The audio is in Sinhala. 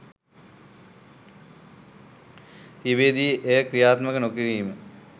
තිබියදී එය ක්‍රියාත්මක නොකිරීම